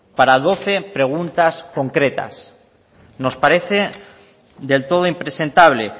para doce preguntas concretas nos parece del todo impresentable